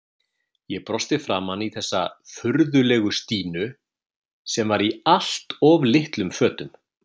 Ég brosti framan í þessa furðulegu Stínu sem var í allt of litlum fötum.